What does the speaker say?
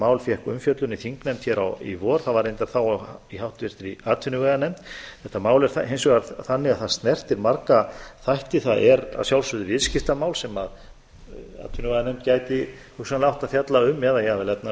mál fékk umfjöllun í þingnefnd hér í vor það var reyndar þá í háttvirtri atvinnuveganefnd þetta mál er hins vegar þannig að það snertir marga þætti það er að sjálfsögðu viðskiptamál sem atvinnuveganefnd gæti hugsanlega átt að fjalla um eða jafnvel efnahags og